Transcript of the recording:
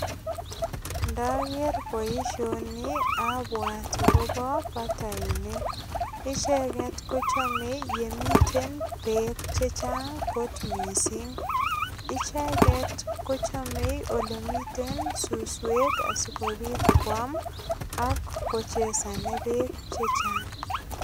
Ndager boisioni abwat agobo bataininik. Icheget ko chamei yemiten beek che chang kot mising. Icheget ko chamei ole miten suswek sogopit kwam ak kochesane beek che chang.